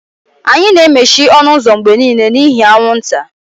Anyị na-emechi ọnụ ụzọ mgbe niile n'ihi anwụnta.